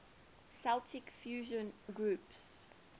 celtic fusion groups